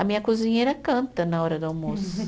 A minha cozinheira canta na hora do almoço.